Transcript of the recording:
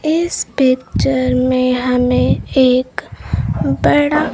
इस पिक्चर में हमें एक बड़ा--